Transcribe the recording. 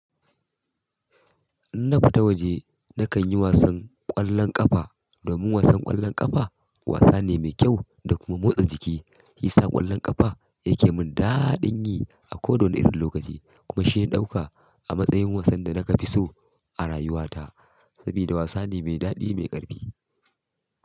In na fita waje, na kan yi wasan ƙwallon ƙafa. Domin wasan ƙwallon ƙafa wasa ne mai kyau da kuma motsa jiki. Yisa ƙwallon ƙafa ya ke mun daaɗin yi a koda wani irin lokaci kuma shi na ɗauka a matsayin wasan da na ka fi so a rayuwa ta. Saboda wasa ne mai daɗi mai ƙarfi.